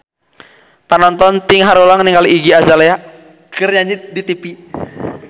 Panonton ting haruleng ningali Iggy Azalea keur nyanyi di tipi